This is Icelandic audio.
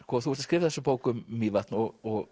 þú ert að skrifa þessa bók um Mývatn og